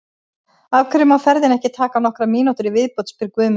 Af hverju má ferðin ekki taka nokkrar mínútur í viðbót? spyr Guðmundur.